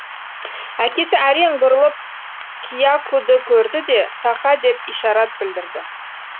әкесі әрең бұрылып киякуді көрді де тақа деп ишарат білдірді